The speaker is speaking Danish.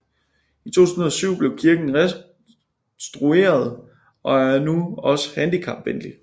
I 2007 blev kirken restureret og er nu også handikapvenlig